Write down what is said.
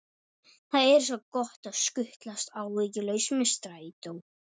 Það er svo gott að skutlast áhyggjulaus með strætó.